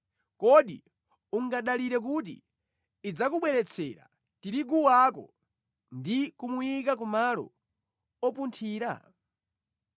Kodi ungadalire kuti idzakubweretsera tirigu wako ndi kumuyika ku malo opunthira?